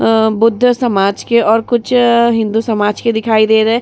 अ बुद्ध समाज के और कुछ हिन्दू समाज के दिखाई दे रहे।